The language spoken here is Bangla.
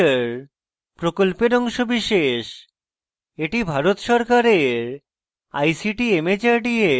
এটি ভারত সরকারের ict mhrd এর জাতীয় শিক্ষা mission দ্বারা সমর্থিত